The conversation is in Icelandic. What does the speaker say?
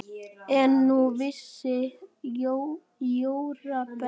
En nú vissi Jóra betur.